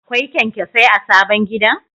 Akwai kyanyasai a sabon gidan?